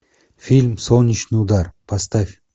фильм солнечный удар поставь